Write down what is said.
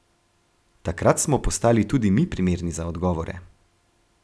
Takrat smo postali tudi mi primerni za odgovore.